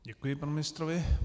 Děkuji panu ministrovi.